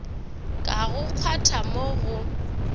ka go kgwatha mo go